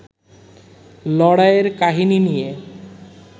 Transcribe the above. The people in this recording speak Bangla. লড়াইয়ের কাহিনী নিয়ে